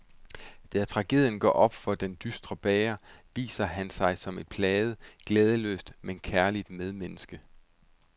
Men da tragedien går op for den dystre bager, viser han sig som et plaget, glædesløst, men kærligt medmenneske.